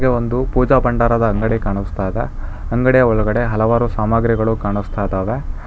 ಒಂದು ಪೂಜಾ ಭಂಡಾರದ ಅಂಗಡಿ ಕಾಣಸ್ತಾ ಇದೆ ಅಂಗಡಿ ಒಳಗಡೆ ಹಲವಾರು ಸಾಮಗ್ರಿಗಳು ಕಾಣಸ್ತಾ ಇದಾವೆ.